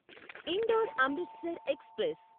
indoor Amritsar express